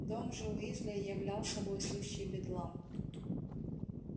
дом же уизли являл собой сущий бедлам